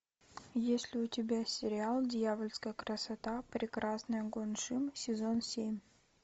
есть ли у тебя сериал дьявольская красота прекрасная гон шим сезон семь